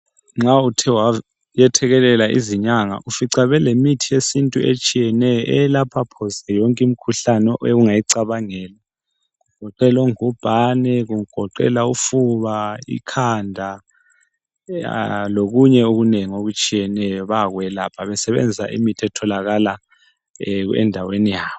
Nxa uthe wayethekelela izinyanga ufica belemithi yesintu etshiyeneyo eyelapha phose yonke imikhuhlane ongayicabangela kugoqela ongubhane ofuba, ikhanda lokunye okunengi okutshiyeneyo bayakwelapha besebenzisa imithi etholakala endaweni yabo.